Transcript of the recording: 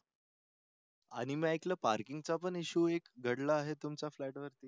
आणि मी ऐकलं पार्किंगचा पण इश्यू आहे एक घडला आहे तुमच्या फ्लॅटवर.